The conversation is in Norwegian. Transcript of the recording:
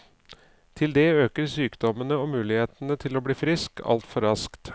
Til det øker sykdommene og mulighetene for å bli frisk altfor raskt.